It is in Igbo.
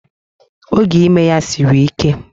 Oge ime ya siri ike